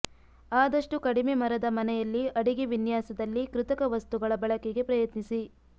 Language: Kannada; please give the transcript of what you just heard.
ಆದಷ್ಟು ಕಡಿಮೆ ಮರದ ಮನೆಯಲ್ಲಿ ಅಡಿಗೆ ವಿನ್ಯಾಸದಲ್ಲಿ ಕೃತಕ ವಸ್ತುಗಳ ಬಳಕೆಗೆ ಪ್ರಯತ್ನಿಸಿ